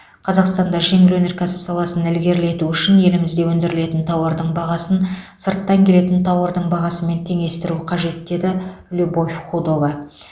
қазақстанда жеңіл өнеркәсіп саласын ілгерілету үшін өзімізде өндірілетін тауардың бағасын сырттан келетін тауардың бағасымен теңестіру қажет деді любовь худова